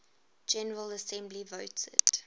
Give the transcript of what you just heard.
general assembly voted